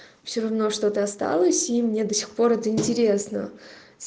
всё равно что-то осталось и мне до сих пор это интересно